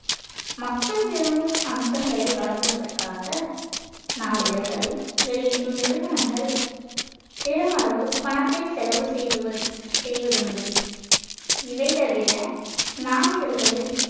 மக்கள் விரும்பும் அம்சங்களை வழங்குவதற்காக நாளிதழ்களை வெளியிடும் நிறுவனங்கள் பெருமளவு பணத்தை செலவு செய்துவ~ செய்வதுண்டு இவை தவிர நாளிதழ்களில்